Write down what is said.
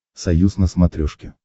союз на смотрешке